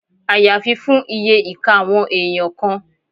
Àyàfi fún iye ìka àwọn èèyàn kan